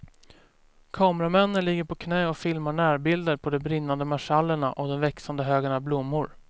Kameramännen ligger på knä och filmar närbilder på de brinnande marschallerna och den växande högen av blommor.